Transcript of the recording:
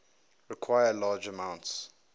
require large amounts